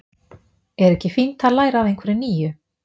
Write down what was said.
Er ekki fínt að læra af einhverju nýju?